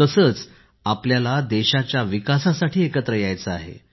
तसेच आपल्याला देशाच्या विकासासाठी एकत्र यायचे आहे